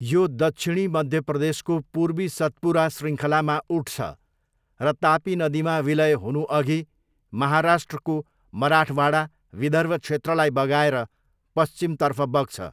यो दक्षिणी मध्य प्रदेशको पूर्वी सतपुरा शृङ्खलामा उठ्छ र तापी नदीमा विलय हुनुअघि महाराष्ट्रको मराठवाडा, विदर्भ क्षेत्रलाई बगाएर पश्चिमतर्फ बग्छ।